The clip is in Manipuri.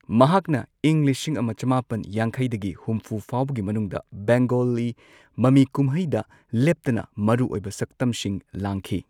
ꯃꯍꯥꯛꯅ ꯏꯪ ꯂꯤꯁꯤꯡ ꯑꯃ ꯆꯃꯥꯄꯟ ꯌꯥꯡꯈꯩꯗꯒꯤ ꯍꯨꯝꯐꯨ ꯐꯥꯎꯕꯒꯤ ꯃꯅꯨꯡꯗ ꯕꯦꯡꯒꯣꯂꯤ ꯃꯃꯤꯀꯨꯝꯍꯩꯗ ꯂꯦꯞꯇꯅ ꯃꯔꯨꯑꯣꯢꯕ ꯁꯛꯇꯝꯁꯤꯡ ꯂꯥꯡꯈꯤ꯫